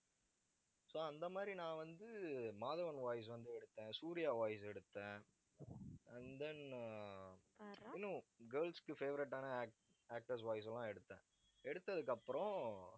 so அந்த மாதிரி நான் வந்து, மாதவன் voice வந்து எடுத்தேன். சூர்யா voice எடுத்தேன். and then ஆ இன்னும் girls க்கு favourite ஆனா actor~ actors voice எல்லாம் எடுத்தேன். எடுத்ததுக்கு அப்புறம்